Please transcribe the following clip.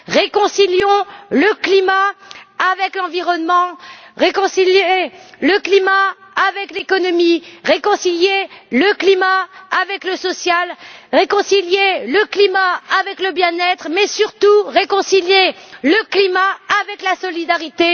Réconciliez le climat avec l'environnement, réconciliez le climat avec l'économie, réconciliez le climat avec le social, réconciliez le climat avec le bien être mais surtout réconciliez le climat avec la solidarité.